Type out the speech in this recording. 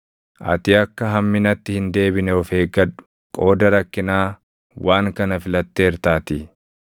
Ati akka hamminatti hin deebine of eeggadhu; qooda rakkinaa waan kana filatteertaatii.